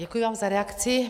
Děkuji vám za reakci.